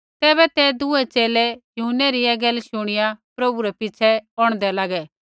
तैबै ते दूऐ च़ेले यूहन्नै री ऐ शूणीऐ प्रभु रै पिछ़ै औंढदै लागे